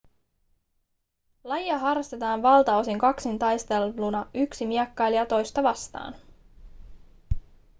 lajia harrastetaan valtaosin kaksintaisteluna yksi miekkailija toista vastaan